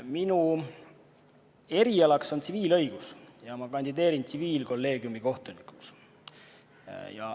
Minu erialaks on tsiviilõigus ja ma kandideerin tsiviilkolleegiumi kohtunikuks.